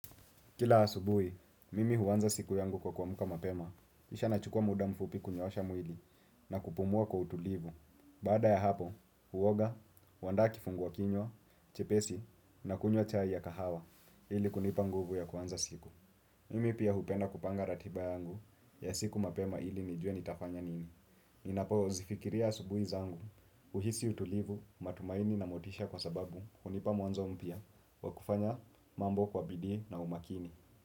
Kila asubui, mimi huanza siku yangu kwa kuamka mapema, kisha nachukua muda mfupi kunyoosha mwili na kupumua kwa utulivu. Baada ya hapo, huoga, huandaa kifungua kinywa, chepesi na kunywa chai ya kahawa ili kunipa nguvu ya kuanza siku. Mimi pia hupenda kupanga ratiba yangu ya siku mapema ili nijue nitafanya nini. Ninapo zifikiria asubui zangu, huhisi utulivu, matumaini na motisha kwa sababu hunipa mwanzo mpya wa kufanya mambo kwa bidii na umakini.